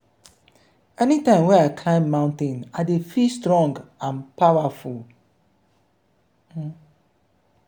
anytime wey i climb mountain i dey feel strong and powerful.